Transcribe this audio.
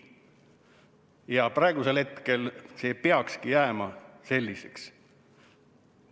Ja praegu see peakski jääma selliseks.